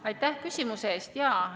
Aitäh küsimuse eest!